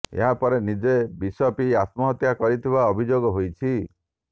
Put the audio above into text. ଏହା ପରେ ନିଜେ ବିଷ ପିଇ ଆତ୍ମହତ୍ୟା କରିଥିବା ଅଭିଯୋଗ ହୋଇଛି